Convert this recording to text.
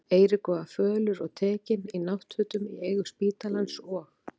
Eiríkur var fölur og tekinn, í náttfötum í eigu spítalans, og